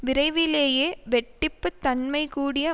விரைவிலேயே வெட்டிப்புத் தன்மைகூடிய